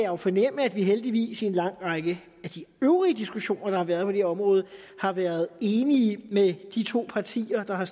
jo fornemme at vi heldigvis i en lang række af de øvrige diskussioner der har været her område har været enige med de to partier der har